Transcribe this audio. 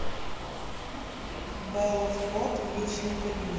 бэлла вход в личный кабинет